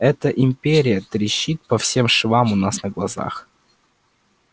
эта империя трещит по всем швам у нас на глазах